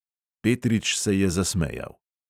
Petrič se je zasmejal.